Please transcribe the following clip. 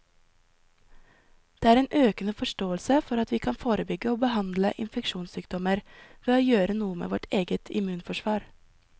Det er en økende forståelse for at vi kan forebygge og behandle infeksjonssykdommer ved å gjøre noe med vårt eget immunforsvar.